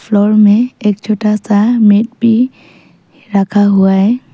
Floor में एक छोटा सा मेट भी रखा हुआ है।